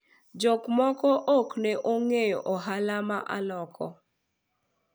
jok moko ok ne ong'eyo ohala ma aloko